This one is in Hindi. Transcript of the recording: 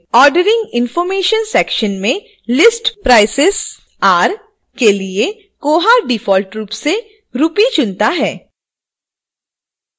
ordering information सेक्शन मेंlist prices are के लिए koha डिफॉल्ट रूप से rupee चुनता है